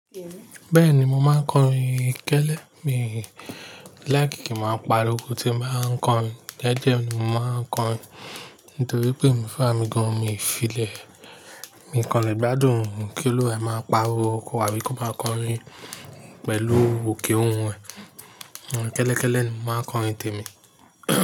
Bẹ́ẹ̀ni, mo máa ń kọrin. Kẹ́lẹ́ mi like kí n máa pariwo tí m bá ń kọrin. Jeje ni mo máa ń kọrin nítorí pé emi fún ara mì gan-an mi ìfilẹ̀. Mi kàn lè gbádùn kí olu wẹ máa pariwo kò abí kò máa kọrin pẹ̀lú òkè òun ẹ. Kẹ́lẹ́, kẹ́lẹ́ ni mo máa ń kọrin tèmi.